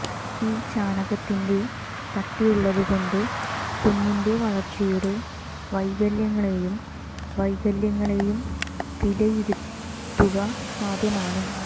ഈ ചാണകത്തിന്റെ കട്ടിയുള്ളതുകൊണ്ട് കുഞ്ഞിന്റെ വളർച്ചയുടെ വൈകല്യങ്ങളെയും വൈകല്യങ്ങളെയും വിലയിരുത്തുക സാധ്യമാണ്